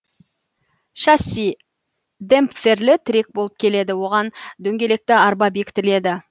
шасси демпферлі тірек болып келеді оған дөңгелекті арба бекітіледі